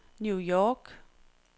New York